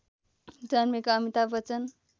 जन्मेका अमिताभ बच्चन